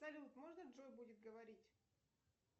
салют можно джой будет говорить